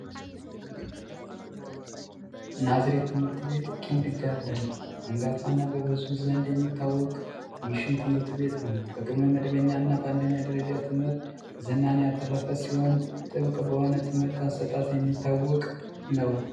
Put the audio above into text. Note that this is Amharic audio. ናዝሬት ትምህርት ቤት ኪንግ ጋርደን አንጋፋ እና በብዙዎች የሚታወቅ ሚሽን ትምህርት ቤት ነው። በቅድመ መደበኛ እና በአንደኛ ደረጃ ትምህርት ዝናን ያተረፈ ሲሆን ጥበቅ በሆነ የትምህርት አሰጣጥ የሚታወቅ ነው።